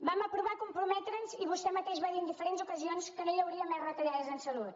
vam aprovar comprometre’ns i vostè mateix va dir en diferents ocasions que no hi hauria més retallades en salut